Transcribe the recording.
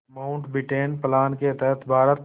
Mountbatten plan के तहत भारत